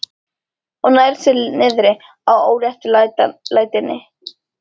Og nær sér niðri á óréttlætinu.